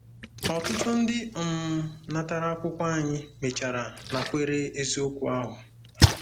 Ọtụtụ ndị um natara akwụkwọ anyị mechara nakwere eziokwu ahụ.